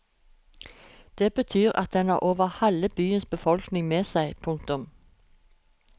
Det betyr at den har over halve byens befolkning med seg. punktum